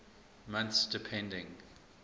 months depending